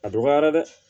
A dɔgɔyara dɛ